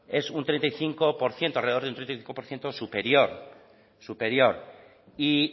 es un treinta y cinco por ciento alrededor de un treinta y cinco por ciento superior superior y